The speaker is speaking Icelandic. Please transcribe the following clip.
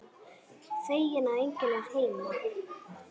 Feginn að enginn er heima.